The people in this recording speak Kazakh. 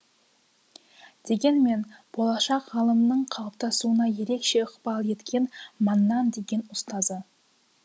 дегенмен болашақ ғалымның қалыптасуына ерекше ықпал еткен маннан деген ұстазы